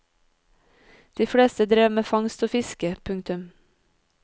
De fleste drev med fangst og fiske. punktum